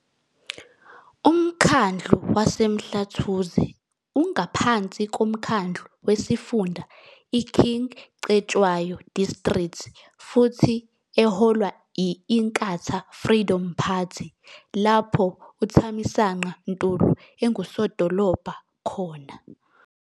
Umkhandlu waseMhlathuze ungaphansi komkhandlu wesifunda iKing Cetshwayo District futhi eholwa yi-Inkatha Freedom Party lapho uThamisanqa Ntuli enguSodolobha khona.